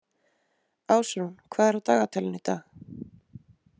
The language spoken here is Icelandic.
Ásrún, hvað er á dagatalinu í dag?